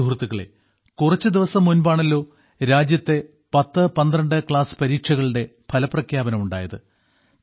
സുഹൃത്തുക്കളേ കുറച്ചു ദിവസം മുൻപാണല്ലോ രാജ്യത്തെ പത്ത് പന്ത്രണ്ട് ക്ലാസ് പരീക്ഷകളുടെ ഫലപ്രഖ്യാപനം ഉണ്ടായത്